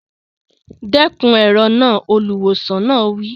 Dẹ́kun èrò náà! Olùwòsàn náà wí.